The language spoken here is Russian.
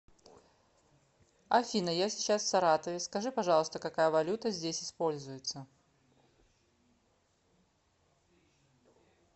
афина я сейчас в саратове скажи пожалуйста какая валюта здесь используется